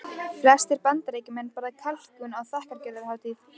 Flestir Bandaríkjamenn borða kalkún á þakkargjörðarhátíðinni.